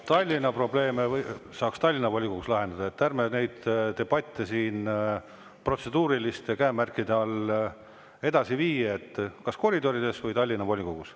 Tallinna probleeme saaks Tallinna volikogus lahendada, ärme neid debatte siin protseduuriliste käemärkide all edasi vii, kas koridorides või Tallinna volikogus.